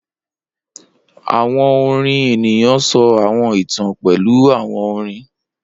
Awọn orin eniyan sọ awọn itan pẹlu awọn orin